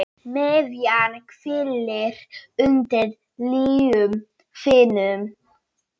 MIÐJAN HVÍLIR UNDIR ILJUM ÞÍNUM